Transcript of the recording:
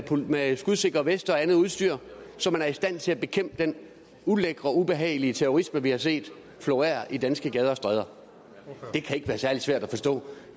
med skudsikre veste og andet udstyr så man er i stand til at bekæmpe den ulækre og ubehagelige terrorisme vi har set florere i danske gader og stræder det kan ikke være særlig svært at forstå